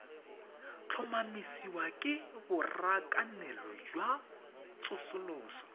tlhomamisiwa ke borakanelo jwa tsosoloso